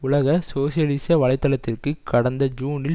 உலக சோசியலிச வலை தளத்திற்கு கடந்த ஜூனில்